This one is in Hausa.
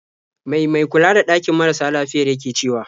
Mai mai kula da ɗakin marasa lafiyar yake cewa?